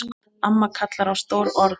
Amma kallar á stór orð.